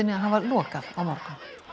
að hafa lokað á morgun